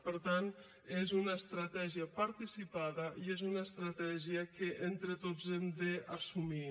per tant és una estratègia participada i és una estratègia que entre tots hem d’assumir